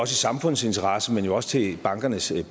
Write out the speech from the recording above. samfundets interesse men jo også til bankernes